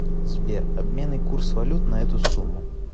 сбер обменный курс валют на эту сумму